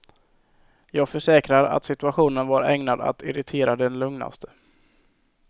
Jag försäkrar att situationen var ägnad att irritera den lugnaste.